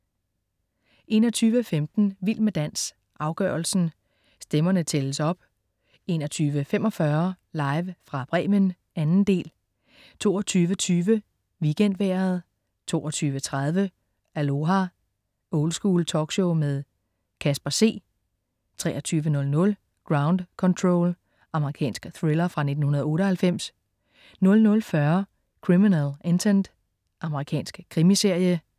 21.15 Vild med dans, afgørelsen. Stemmerne tælles op 21.45 Live fra Bremen, 2. del 22.20 WeekendVejret 22.30 Aloha! Oldschool talkshow med Casper C 23.00 Ground Control. Amerikansk thriller fra 1998 00.40 Criminal Intent. Amerikansk krimiserie